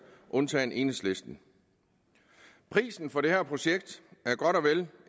undtagen enhedslisten prisen for det her projekt er godt og vel